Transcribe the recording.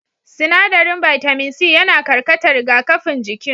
Sinaɗarin bitamin c yana karkata rigakafin jikin